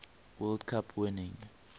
world cup winning